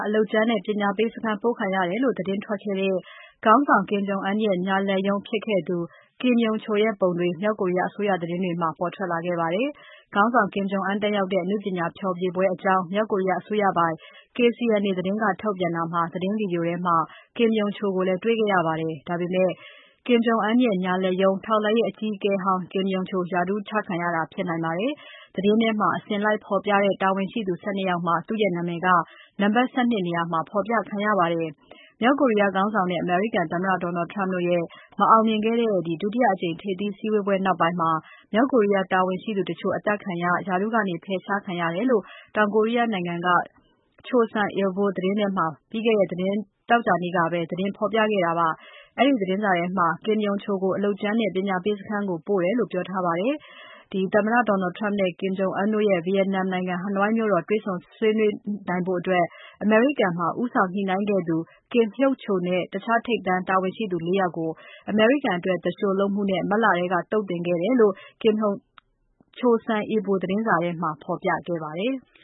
အလုပ်ကြမ်းနဲ့ ပညာပေးစခန်းကို ပို့ခံရတယ်ဆိုပြီး သတင်းထွက်ခဲ့တဲ့ Kim Yong-chol ရဲ့ပုံတွေ မြောက်ကိုရီးယား အစိုးရသတင်းတွေမှာ ပါလာပါတယ်။ ခေါင်းဆောင် Kim Jong Un တက်ရောက်တဲ့ အနုပညာဖျော်ဖြေပွဲအကြောင်း မြောက်ကိုရီးယား အစိုးရပိုင် KCNA သတင်းက ထုတ်တာမှာ သတင်း Video ထဲမှာ Kim Yong-chol ကိုလည်း တေ့ွခဲ့ရပါတယ်။ ဒါပေမဲ့ Kim Jong-Un ရဲ့ ညာလက်ရုံး ထောက်လှမ်းရေးအကြီးအကဲဟောင်း Kim Yong-chol ရာထူးချခံရတာ ဖြစ်နိုင်ပါတယ်။ သတင်းထဲမှာ အစဉ်လိုက်ဖော်ပြတဲ့ တာဝန်ရှိသူ ၁၂ ယောက် မှာ သူ့ရဲ့နာမည်က နံပါတ် ၁၂ နေရာမှာ ဖော်ပြခံရပါတယ်။ မြောက်ကိုရီးယားခေါင်းဆောင်နဲ့ အမေရိကန်သမ္မတ Donald Trump တို့ရဲ့ မအောင်မြင်ခဲ့တဲ့ ဒုတိယအကြိမ် ထိပ်သီးစည်းဝေးပွဲနောက်ပိုင်း မြောက်ကိုရီးယား တာဝန်ရှိသူတချို့ အသတ်ခံရ၊ ရာထူးကနေ ဖယ်ရှားခံရတယ်လို့ တောင်ကိုရီးယားနိုင်ငံက Choson Ilbo သတင်းစာထဲမှာ ပြီးခဲ့တဲ့သောကြာနေ့ကပဲ သတင်းဖော်ပြခဲ့တာပါ။ အဲဒီသတင်းထဲမှာ Kim Yong-chol ကို အလုပ်ကြမ်းနဲ့ ပညာပေးစခန်းကို ပို့လိုက်တယ်လို့ ပြောထားပါတယ်။ သမ္မတ Donald Trump နဲ့ ခေါင်းဆောင် Kim Jong-Un တို့ ဗီယက်နမ်နိုင်ငံ၊ ဟနွိုင်းမြို့တော် မှာ တေ့ွဆုံဆွေးနွေးနိုင်ဖို့ အမေရိကန်မှာ ဦးဆောင်ညှိနှိုင်းခဲ့သူ Kim Hyok-chol နဲ့ တခြား ထိပ်တန်းတာဝန်ရှိသူ ၄ ယောက်ကို အမေရိကန်အတွက် သူလျှိုလုပ်မှုနဲ့ မတ် လကတည်းက သုတ်သင်ခဲ့တယ်လို့ Chosun Ilbo သတင်းစာထဲမှာ ဖော်ပြခဲ့ပါတယ်။